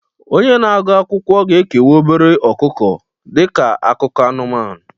Onye na-agụ akwụkwọ ga-ekewa obere ọkụkọ dị ka akụkọ anụmanụ